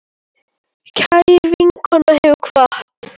Kær vinkona hefur kvatt.